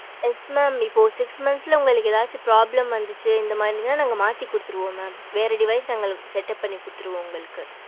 yes mam இப்போ six month ல உங்களுக்கு ஏதாவது problem வந்துச்சு இந்த மாறினா நாங்க மாத்தி கொடுத்துடுவோம் mam வேற device setup பண்ணி கொடுத்துடுவோம் உங்களுக்கு